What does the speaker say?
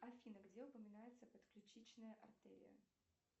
афина где упоминается подключичная артерия